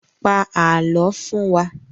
Pa àálọ́ fún wa!